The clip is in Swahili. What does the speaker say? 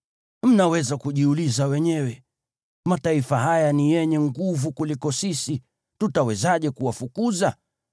Mnaweza kujiuliza wenyewe “Mataifa haya ni yenye nguvu kuliko sisi. Tutawezaje kuwafukuza?”